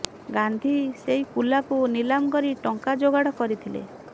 ଗାନ୍ଧୀ ସେହି କୁଲାକୁ ନିଲାମ କରି ଟଙ୍କା ଯୋଗାଡ଼ କରିଥିଲେ